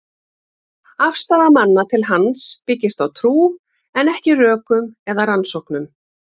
Afstaða manna til hans byggist á trú, en ekki rökum eða rannsóknum.